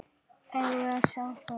Eigum við að sjá það?